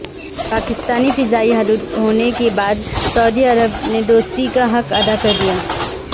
پاکستانی فضائی حدود بند ہونے کے بعد سعودی عرب نے دوستی کا حق ادا کردیا